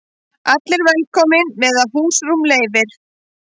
Allir velkomnir meðan húsrúm leyfir